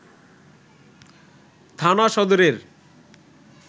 থানা সদরের